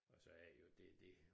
Og så er det jo det dét